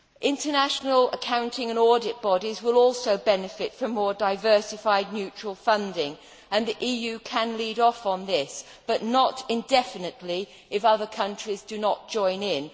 International accounting and audit bodies will also benefit from more diversified neutral funding and the EU can lead off on this, but not indefinitely if other countries do not join in.